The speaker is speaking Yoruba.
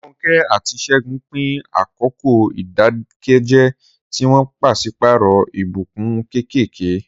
Ronke àti Segun pín àkókò ìdákẹ́jẹ́, tí wọ́n pàṣípààrọ̀ ìbùkún kéékèèké.